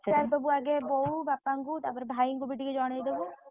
ପଚାରିଦବୁ ଆଗେ ବୋଉ ବାପାଂକୁ ତାପରେ ଭାଇଂକୁ ବି ଟିକେ ଜଣେଇଦବୁ।